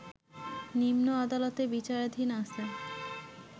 নিম্ন আদালতে বিচারাধীন আছে